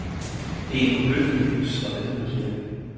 Det er en forbløffende lys og velholdt kirke.